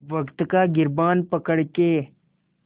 वक़्त का गिरबान पकड़ के